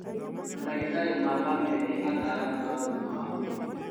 Mandagĩtarĩ ma bamĩrĩ nĩ ataaramu a ũgima wa mwĩrĩ